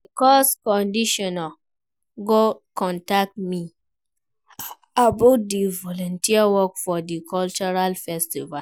Di course coordinator go contact me about di volunteer work for di cultural festival.